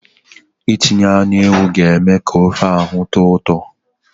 Itinye anụ ewu ga-eme ka ofe ahụ tọọ ụtọ.